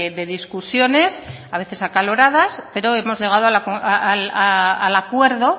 de discusiones a veces acaloradas pero hemos llegado al acuerdo